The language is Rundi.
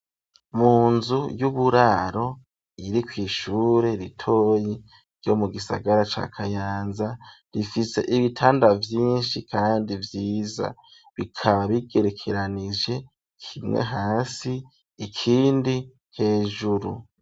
Mu nzu y'uburaro iri kwi ishure ritoyi ryo mu gisagara ca kayanza rifite ibitanda vyinshi kandi vyiza bikaba bigerekeranije kimwe hasi ikindi hejuru.